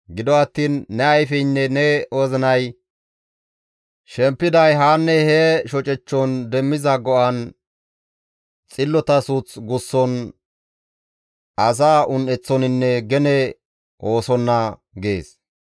Gido attiin ne ayfeynne ne wozinay shempiday haa hee shocechchon demmiza go7an, xillota suuth gusson, asaa un7eththoninne gene oosonna» gees.